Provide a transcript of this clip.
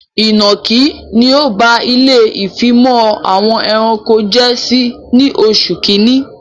Ìnọ̀kí ni ọ ba ilé ìfimọ̀ àwọn ẹranko jẹ ní oṣù kínní